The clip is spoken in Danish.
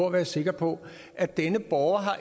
at være sikker på at denne borger